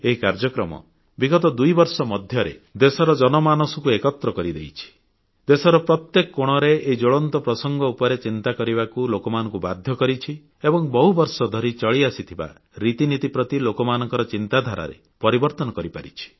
ଏହି କାର୍ଯ୍ୟକ୍ରମ ବିଗତ ଦୁଇବର୍ଷ ମଧ୍ୟରେ ଦେଶର ଜନମାନସକୁ ଏକତ୍ର କରିଦେଇଛି ଦେଶର ପ୍ରତ୍ୟେକ କୋଣରେ ଏହି ଜ୍ୱଳନ୍ତ ପ୍ରସଙ୍ଗ ଉପରେ ଚିନ୍ତା କରିବାକୁ ଲୋକମାନଙ୍କୁ ବାଧ୍ୟ କରିଛି ଏବଂ ବହୁବର୍ଷ ଧରି ଚଳିଆସିଥିବା ରୀତିନୀତି ପ୍ରତି ଲୋକମାନଙ୍କ ଚିନ୍ତାଧାରାରେ ପରିବର୍ତ୍ତନ କରିପାରିଛି